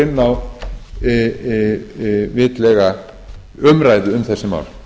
inn á vitlega umræðu um þessi mál